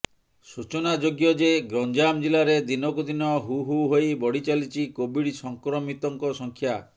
ସୂଚନାଯୋଗ୍ୟ ଯେ ଗଞ୍ଜାମ ଜିଲ୍ଲାରେ ଦିନକୁ ଦିନ ହୁ ହୁ ହୋଇ ବଢିଚାଲିଛି କୋଭିଡ୍ ସଂକ୍ରମିତଙ୍କ ସଂଖ୍ୟା